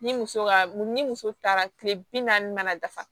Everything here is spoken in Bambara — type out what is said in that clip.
Ni muso ka ni muso taara tile bi naani mana dafa